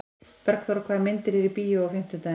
Bergþóra, hvaða myndir eru í bíó á fimmtudaginn?